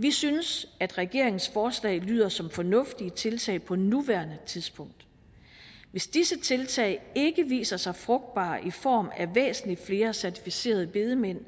vi synes at regeringens forslag lyder som fornuftige tiltag på nuværende tidspunkt hvis disse tiltag ikke viser sig frugtbare i form af væsentlig flere certificerede bedemænd